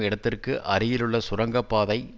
இடத்திற்கு அருகிலுள்ள சுரங்க பாதை